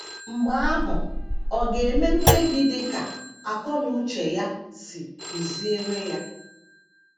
Mgbe ahụ, ọ ga - eme mkpebi dị ka akọ na uche ya si tụziere ya.